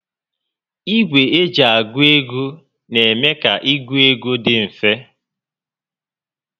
Ìgwè eji a gụ ego n'eme ka ịgụ égo dị mfe